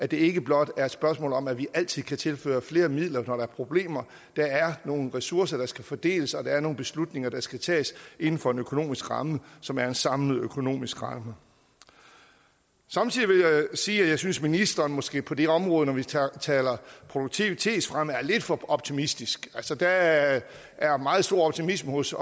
det ikke blot er et spørgsmål om at vi altid kan tilføre flere midler når der er problemer der er nogle ressourcer der skal fordeles og der er nogle beslutninger der skal tages inden for en økonomisk ramme som er en samlet økonomisk ramme samtidig vil jeg sige at jeg synes ministeren måske på det område når vi taler produktivitetsfremme er lidt for optimistisk altså der er er meget stor optimisme hos